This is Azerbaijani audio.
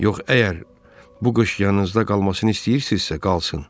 Yox, əgər bu qış yanınızda qalmasını istəyirsizsə, qalsın.